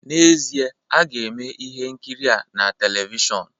N'ezie, a ga-eme ihe nkiri a na televishọn